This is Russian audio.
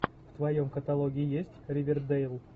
в твоем каталоге есть ривердейл